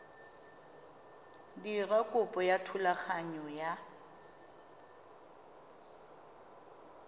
dira kopo ya thulaganyo ya